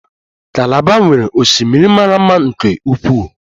Kalaba nwere osimiri mara mma nke ukwuu